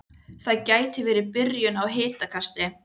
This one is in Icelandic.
Það gæti verið byrjun á hitakasti